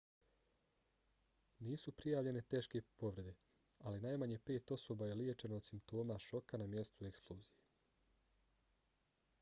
nisu prijavljene teške povrede ali najmanje pet osoba je liječeno od simptoma šoka na mjestu eksplozije